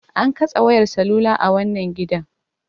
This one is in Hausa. An katse wayar salula a wannan gidan.